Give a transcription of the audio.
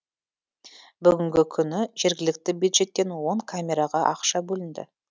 бүгінгі күні жергілікті бюджеттен он камераға ақша бөлінді